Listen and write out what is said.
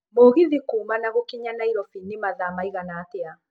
mũgithi kuuma na gukinya nairobi ni mathaa riĩgana atĩa